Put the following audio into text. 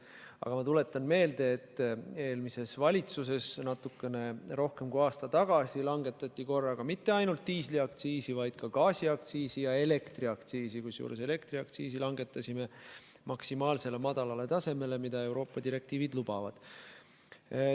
Aga ma tuletan meelde, et eelmises valitsuses natuke rohkem kui aasta tagasi langetati mitte ainult diisliaktsiisi, vaid ka gaasiaktsiisi ja elektriaktsiisi, kusjuures elektriaktsiisi langetasime maksimaalselt madalale tasemele, mida Euroopa direktiivid lubavad.